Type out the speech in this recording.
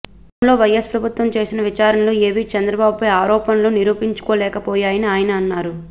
గతంలో వైయస్ ప్రభుత్వం వేసిన విచారణలు ఏవీ చంద్రబాబుపై ఆరోపణలను నిరూపించలేకపోయాయని ఆయన అన్నారు